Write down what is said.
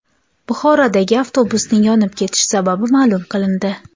Buxorodagi avtobusning yonib ketish sababi ma’lum qilindi.